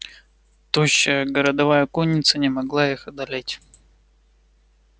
тощая городовая конница не могла их одолеть